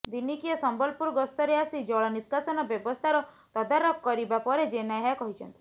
ଦିନିକିଆ ସମ୍ବଲପୁର ଗସ୍ତରେ ଆସି ଜଳ ନିଷ୍କାସନ ବ୍ୟବସ୍ଥାର ତଦାରଖ କରିବା ପରେ ଜେନା ଏହା କହିଛନ୍ତି